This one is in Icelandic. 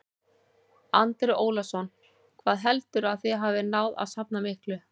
Andri Ólafsson: Hvað heldurðu að þið hafið náð að safna miklu?